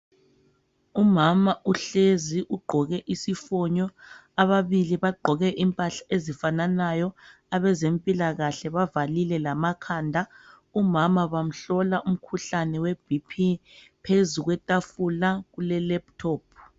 Umama uhlezi ugqoke isifonyo ababili bagqoke impahla ezifananayo abezempilakahle bavalile lamakhanda umama bamhlola umkhuhlane we bp phezu kwetafula kule laptop.